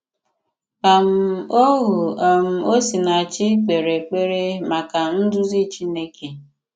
um Ohù um Osinàchì k̀pèrè èkpèrè maka nduzi Chineke.